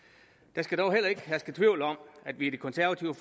der skal dog heller ikke herske tvivl om at vi i det konservative